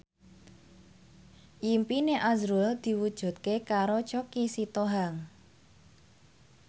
impine azrul diwujudke karo Choky Sitohang